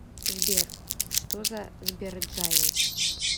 сбер что за сберджайл